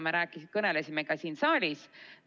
Me kõnelesime sellest ka siin saalis.